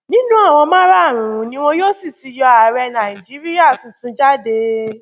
nínú àwọn márààrúnún ni wọn yóò sì ti yọ ààrẹ nàìjíríà tuntun jáde